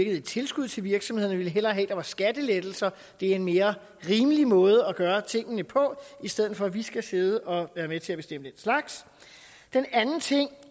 er et tilskud til virksomhederne vi ville hellere have at der var skattelettelser det er en mere rimelig måde at gøre tingene på i stedet for at vi skal sidde og være med til at bestemme den slags den anden ting